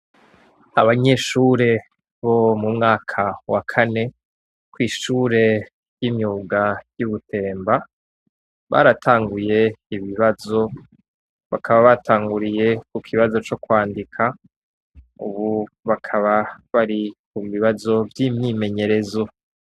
Abanyeshure bo mu mwaka wa kane, kw ishure ry'imyuga y'Ubutemba, baratanguye ibibazo bakaba batanguriye ku kibazo co kwandika, ubu bakaba bari ku bibazo vy'imyimenyerezo.